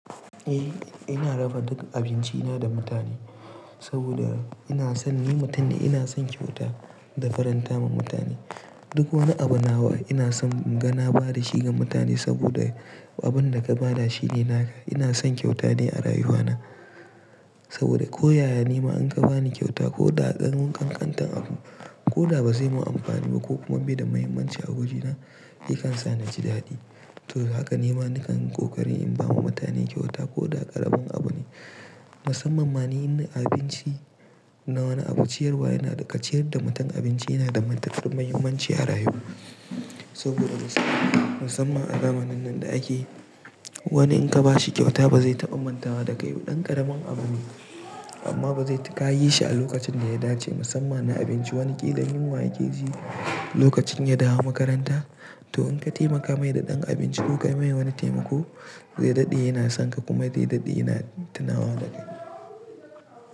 Eh ina raba duk abinci na da mutane, saboda ina son ni mutum ne ina son kyauta da farantawa ma mutane. Duk wani abin nawa ina son in ga na ba da shi ga mutane saboda abin da ka ba da shi yana ka. Ina son kyauta ne a rayuwa na saboda ko yaya ne ma an ka ba ni kyauta ko da ƙarin ƙanƙantar abu ko da ba zai mun amfani ba ko kuma bai da mahimmanci a wajena, yi kan sa ni ji daɗi. To haka nima nakan ƙoƙari in ba wa mutane kyauta ko da ƙaramin abu ne. Musamman ma ni in abinci na wani abu ciyarwa yana ka ciyar da mutum abinci yana da mantatun mahimmanci a rayuwa. Saboda musamman a zamanin nan da ake, wani in ka ba shi kyauta ba zai taɓa mantawa da kai. Ɗan ƙaramin abu ne amma ba zai ka yi shi a lokacin da ya dace musammani abinci wani ƙila yunwa yake ji lokacin ya dawo makaranta to in ka taimaka mai da ɗan abinci ko ka yi mai wani taimako zai daɗe yana son ka kuma zai daɗe yana tunawa da kai.